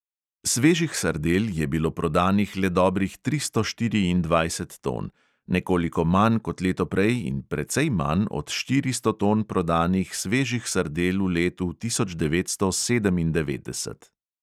Svežih sardel je bilo prodanih le dobrih tristo štiriindvajset ton, nekoliko manj kot leto prej in precej manj od štiristo ton prodanih svežih sardel v letu tisoč devetsto sedemindevetdeset.